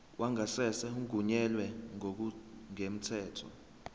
wangasese ungenelwe ngokungemthetho